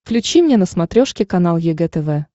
включи мне на смотрешке канал егэ тв